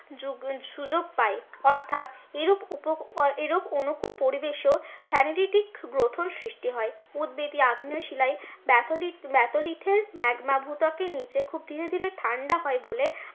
সুযোগ পাই অর্থাৎ অনুকূল পরিবেশেও থ্যানিরিটিক গ্রথন সৃষ্টি হয়। উদবেধী আগ্নেয় শিলায় ব্যাথলিড, ব্যাথলিডের ম্যাগমা ভূত্বকের নীচে খুব ধীরে ধীরে ঠান্ডা হয় বলে